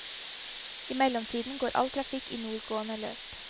I mellomtiden går all trafikk i nordgående løp.